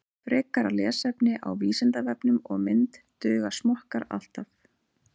Frekara lesefni á Vísindavefnum og mynd Duga smokkar alltaf?